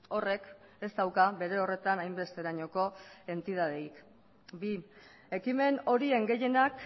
horrek ez dauka bere horretan hainbesterainoko entitaterik bi ekimen horien gehienak